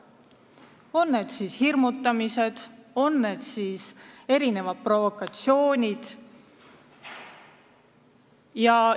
On siis tegu hirmutamisega või mitmesuguste provokatsioonidega.